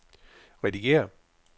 redigér